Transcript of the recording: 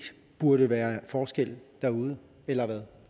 burde være forskel derude eller hvad